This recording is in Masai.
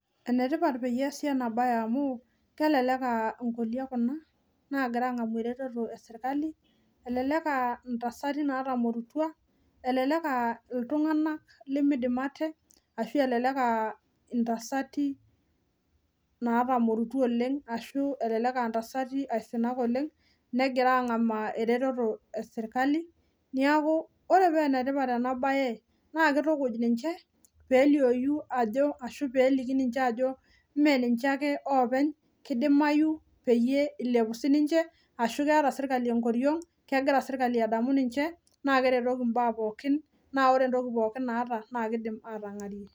Enetipat teneasi enabae amu kelelek aa nkolia kuna nagira angamu ereteto esirkali elelek aa ntasati natamorutua , elelek aa iltuganak lemeidim ate ashu elelek aa intasati natamorutua oleng , ashu elelek aa ntasati aisinak aisinak oleng negira angamaa ereteto esirkali , niaku ore pee enetipat enabae naa kitukuj ninche pelioyu ashu peliou ajo mmee ninche ake openy , kidimayu pee ilepu ninche naa keeta enkoriong , kegira sirkali adamu ninche naa keretoki ninche naa ore entoki pookin naata naa kidim atangarie.